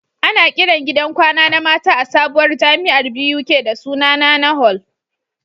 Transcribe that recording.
Ana Kiran gidan kwana na mata a sabuwar jamiar Buk da suna NaNa hall